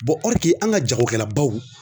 an ka jagokɛlabaw